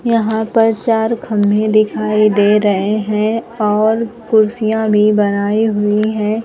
यहां पर चार खंभे दिखाई दे रहे हैं और कुर्सियां भी बनाई हुई है।